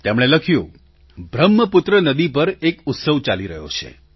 તેમણે લખ્યું બ્રહ્મપુત્ર નદી પર એક ઉત્સવ ચાલી રહ્યો છે